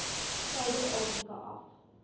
suider afrika af